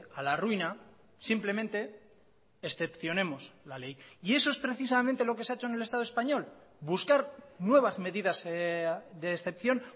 a la ruina simplemente excepcionemos la ley y eso es precisamente lo que se ha hecho en el estado español buscar nuevas medidas de excepción